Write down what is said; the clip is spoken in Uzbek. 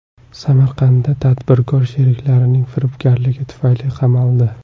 Samarqandda tadbirkor sheriklarining firibgarligi tufayli qamaldi.